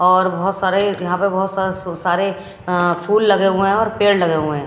और बहोत सारे यहां पे बहोत स-स सारे अं फूल लगे हुए हैं और पेड़ लगे हुए हैं।